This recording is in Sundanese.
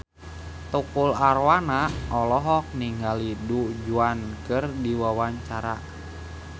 Tukul Arwana olohok ningali Du Juan keur diwawancara